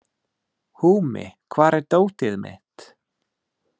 Húmi, hvar er dótið mitt?